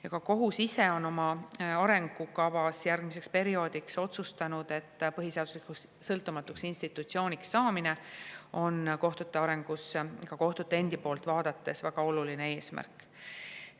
Ja ka kohus ise on oma arengukavas järgmiseks perioodiks otsustanud, et põhiseaduslikuks sõltumatuks institutsiooniks saamine on kohtute arengus ka kohtute endi poolt vaadates väga oluline eesmärk.